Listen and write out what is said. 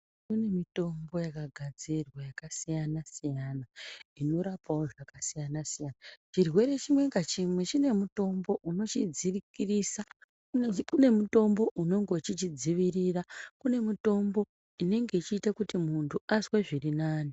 Kune mitombo yaka gadzirwa yaka siyana siyana ino rapawo zvaka siyana siyana chirwere chimwe nga chimwe chine mutombo unochi dzikirisa une mutombo unonga uchichi dzivirira kune mitombo inenge ichiita kuti muntu azwe zvirinani.